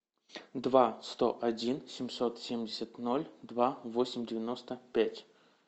два сто один семьсот семьдесят ноль два восемь девяносто пять